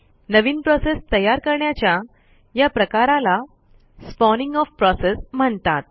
नवीन process तयार करण्याच्या या प्रकाराला स्पॉनिंग ओएफ प्रोसेस म्हणतात